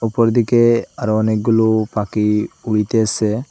উপর দিকে আরো অনেকগুলো পাখি উড়িতেসে।